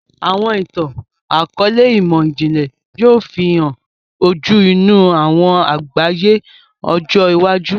Awọn itan-akọọlẹ imọ-jinlẹ yoo fihàn ojú inú awọn àgbáyé ọjọ iwájú.